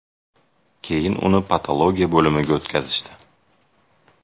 Keyin uni patologiya bo‘limiga o‘tkazishdi.